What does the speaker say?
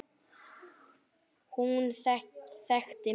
Hún þekkti mig.